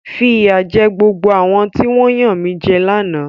Fi ìyà jẹ gbogbo àwọn tí wọ́n yanmijẹ lánàá!